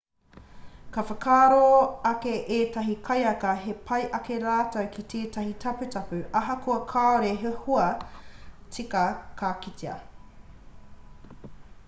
ka whakaaro ake ētahi kaiaka he pai ake rātou ki tētahi taputapu ahakoa kāore he hua tika ka kitea